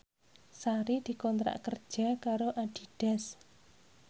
Sari dikontrak kerja karo Adidas